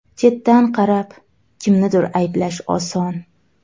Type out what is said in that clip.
Chetdan qarab, kimnidir ayblash oson.